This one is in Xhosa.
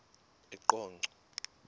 eqonco